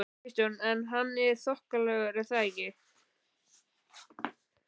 Kristján: En hann er þokkalegur er það ekki?